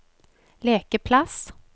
lekeplass